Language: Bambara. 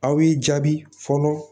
Aw y'i jaabi fɔlɔ